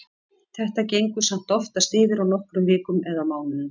Þetta gengur samt oftast yfir á nokkrum vikum eða mánuðum.